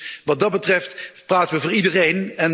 Dus wat dat betreft praten we voor iedereen.